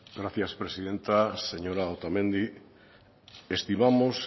gracias presidenta señora otamendi estimamos